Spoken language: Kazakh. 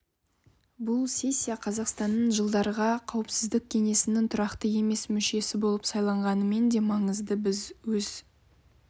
бұл сессия қазақстанның жылдарға қауіпсіздік кеңесінің тұрақты емес мүшесі болып сайланғанымен де маңызды біз өз